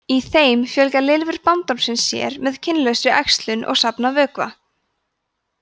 í þeim fjölga lirfur bandormsins sér með kynlausri æxlun og safna vökva